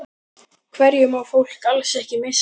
Hverju má fólk alls ekki missa af?